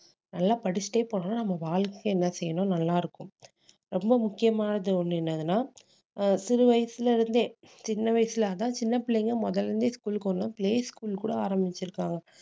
நல்லா படிச்சுட்டே போனா நம்ம வாழ்க்கை என்ன செய்யணும் நல்லா இருக்கும் ரொம்ப முக்கியமானது ஒண்ணு என்னதுன்னா ஆஹ் சிறு வயசுல இருந்தே சின்ன வயசுல அதான் சின்ன பிள்ளைங்க முதல்ல இருந்தே school க்கு play school கூட ஆரம்பிச்சிருக்காங்க